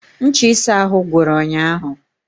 Ncha ịsa ahụ gwụrụ ụnyahụ